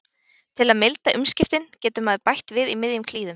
Til að milda umskiptin getur maður bætt við í miðjum klíðum.